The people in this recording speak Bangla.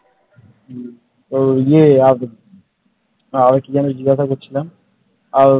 ওই ইয়ে আর কে যেন জিজ্ঞাসা করছিলাম আর